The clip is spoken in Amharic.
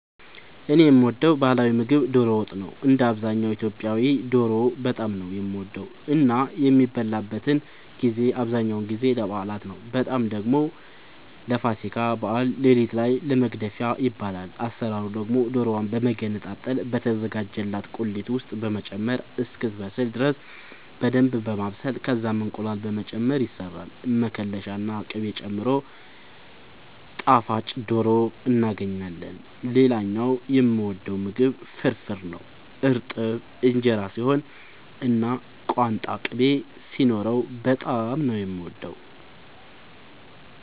እኔ የምወደው ባህላዊ ምግብ ዶሮ ወጥ ነው። እንደ አብዛኛው ኢትዮጵያዊ ዶሮ በጣም ነው የምወደው እና የሚበላበትን ጊዜ አብዛኛውን ጊዜ ለበዓላት ነው በጣም ደግሞ ለፋሲካ በዓል ሌሊት ላይ ለመግደፊያ ይበላል። አሰራሩ ደግሞ ዶሮዋን በመገነጣጠል በተዘጋጀላት ቁሌት ውስጥ በመጨመር እስክትበስል ድረስ በደንብ በማብሰል ከዛም እንቁላል በመጨመር ይሰራል መከለሻ ና ቅቤ ጨምሮ ጣፋጭ ዶሮ እናገኛለን። ሌላኛው የምወደው ምግብ ፍርፍር ነው። እርጥብ እንጀራ ሲሆን እና ቋንጣ ቅቤ ሲኖረው በጣም ነው የምወደው።